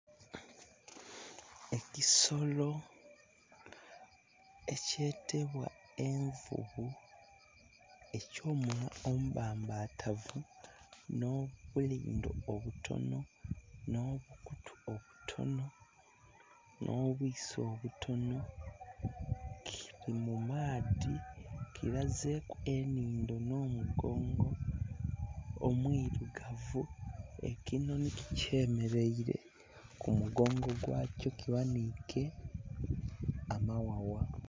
Ekisolo ekyetebwa envuvu eky'omunhwa omubbambatavu n'obuyindho obutono, n'obukutu obutono, n'obwiiso obutono, kili mu maadhi kirazeku enindho n'omugongo omwirugavu. Ekinhonhi kikyemeleire ku mugongo gwakyo kighanike amaghagha.